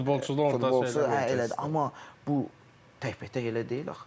Futbolçu o futbolçu, elədir, amma bu təkbətək elə deyil axı.